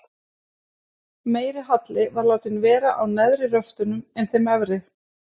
Meiri halli var látinn vera á neðri röftunum en þeim efri.